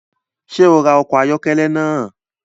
Ṣe o rá ọkọ ayọkẹlẹ naa?